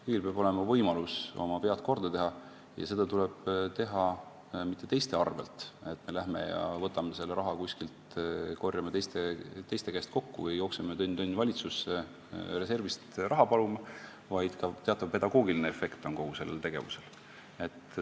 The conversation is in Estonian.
Kõigil peab olema võimalus oma vead ära parandada ja seda tuleb teha mitte teiste arvel, et me lähme ja võtame selle raha kuskilt, korjame teiste käest kokku ja jookseme tönn-tönn valitsusse reservist raha paluma, vaid kogu sellel tegevusel on ka teatav pedagoogiline efekt.